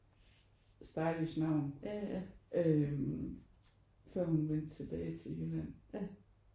Stylish navn øh før hun vendte tilbage til Jylland